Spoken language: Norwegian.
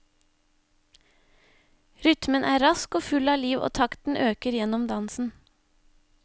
Rytmen er rask og full av liv og takten øker gjennom dansen.